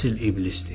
Əsil iblisdir.